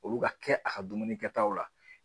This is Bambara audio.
Olu ka kɛ a ka dumuni kɛtaw la.